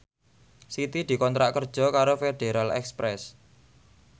Siti dikontrak kerja karo Federal Express